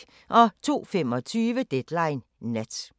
02:25: Deadline Nat